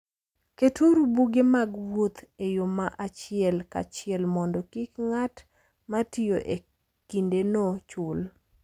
Keturu buge mag wuoth e yo ma achiel kachiel mondo kik ng'at ma tiyo e kindeno chul.